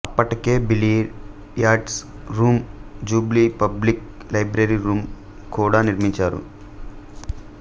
అప్పటికే billiards room jubilee public library room కూడా నిర్మించారు